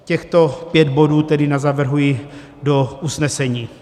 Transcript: Těchto pět bodů tedy navrhuji do usnesení.